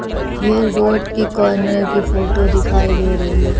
ये रोड के कॉर्नर की फोटो दिखाई दे रही है।